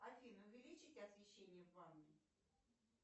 афина увеличить освещение в ванной